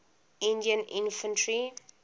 indian infantry